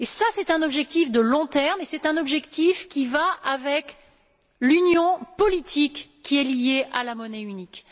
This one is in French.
C'est un objectif de long terme et c'est un objectif qui va avec l'union politique qui est liée à la monnaie unique.